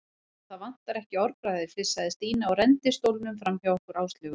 Sko, það vantar ekki orðbragðið flissaði Stína og renndi stólnum framhjá okkur Áslaugu.